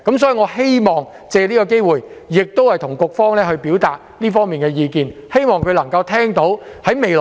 所以，我希望藉此機會向局方表達這方面的意見，亦希望局方聽到我的意見。